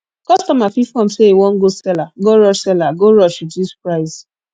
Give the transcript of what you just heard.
kostomer fit form say e wan go seller go rush seller go rush reduce price